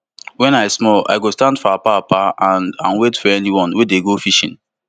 wen i small i go stand for apapa and and wait for anyone wey dey go fishing